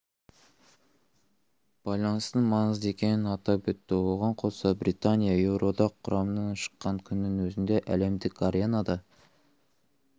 байланыстың маңызды екенін атап өтті оған қоса британия еуроодақ құрамынан шыққан күннің өзінде әлемдік аренада